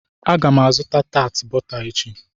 Aga m azụta tat bọta echi.